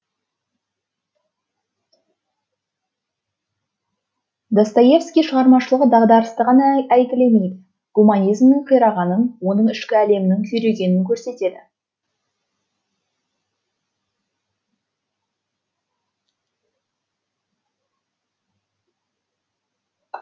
достоевскийдің шығармашылығы дағдарысты ғана әйгілемейді гуманизмнің қирағанын оның ішкі әлемінің күйрегенін көрсетеді